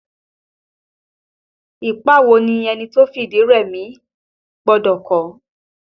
Ipa wo ni ẹni tó fi ìdí rẹmi gbọ́dọ̀ kó?